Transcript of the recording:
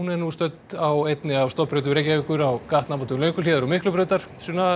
er nú stödd á einni af stofnbrautum Reykjavíkur á gatnamótum Lönguhlíðar og Miklubrautar